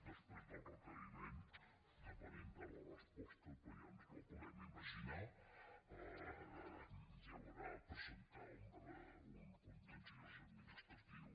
després del requeriment depenent de la resposta però ja ens la podem imaginar hi haurà a presentar un contenciós administratiu